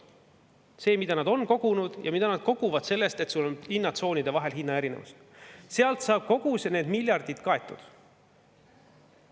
Selle abil, mida nad on kogunud ja mida nad koguvad sellest, et hinnatsoonide vahel on hinna erinevus, saab kõik need miljardid kaetud.